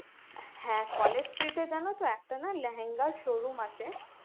হ্যাঁ college street এ জান তো একটা না লেহেঙ্গার showroom আছে